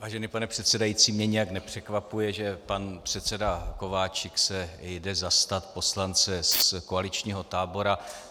Vážený pane předsedající, mě nějak nepřekvapuje, že pan předseda Kováčik se jde zastat poslance z koaličního tábora.